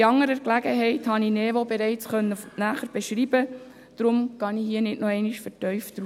Bei anderer Gelegenheit konnte ich NeVo bereits näher beschreiben, weshalb ich hier nicht nochmals vertieft darauf eingehe.